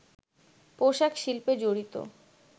পোশাক শিল্পে জড়িত